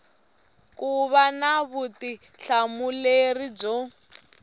ku va na vutihlamuleri byo